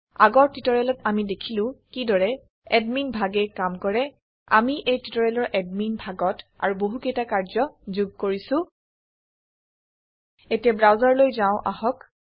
আগৰ টিউটৰিয়েলত আমি দেখিলো কিদৰে এদমিন ভাগে কাম কৰে আমি এই টিউটৰিয়েলৰ এদমিন ভাগত আৰু বহুকেইটা কাৰ্য্য যোগ কৰিছো এতিয়া ব্ৰাউচাৰলৈ যাও আহক